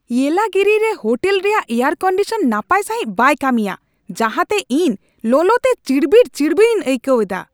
ᱤᱭᱮᱞᱟᱜᱤᱨᱤ ᱨᱮ ᱦᱳᱴᱮᱞ ᱨᱮᱭᱟᱜ air condition ᱱᱟᱯᱟᱭ ᱥᱟᱹᱦᱤᱡ ᱵᱟᱭ ᱠᱟᱹᱢᱤᱭᱟ ᱡᱟᱦᱟᱸᱛᱮ ᱤᱧ ᱞᱚᱞᱚᱛᱮ ᱪᱤᱲᱵᱤᱲᱼᱪᱤᱲᱵᱤᱲ ᱤᱧ ᱟᱹᱭᱠᱟᱹᱣ ᱮᱫᱟ ᱾